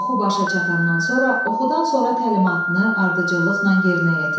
Oxu başa çatandan sonra oxudan sonra təlimatını ardıcıllıqla yerinə yetir.